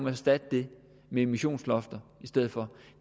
erstatte det med emissionslofter